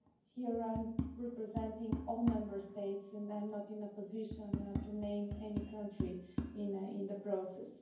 Here I am representing all Member States, and I'm not in a position to name any country in the process.